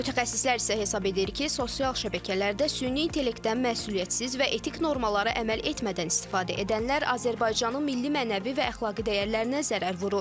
Mütəxəssislər isə hesab edir ki, sosial şəbəkələrdə süni intellektdən məsuliyyətsiz və etik normalara əməl etmədən istifadə edənlər Azərbaycanın milli mənəvi və əxlaqi dəyərlərinə zərər vurur.